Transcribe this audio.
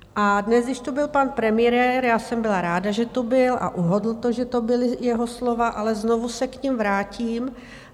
A dnes, když tu byl pan premiér, já jsem byla ráda, že tu byl a uhodl to, že to byla jeho slova, ale znovu se k nim vrátím.